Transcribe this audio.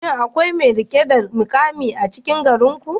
Shin akwai mai rike da mukami a cikin danginku?